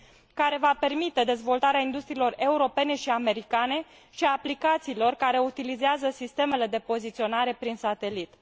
care va permite dezvoltarea industriilor europene și americane și a aplicațiilor care utilizează sistemele de poziționare prin satelit.